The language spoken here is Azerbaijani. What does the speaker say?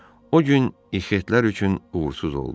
O gün ixitlər üçün uğursuz oldu.